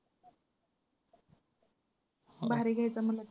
भारी घ्यायचा .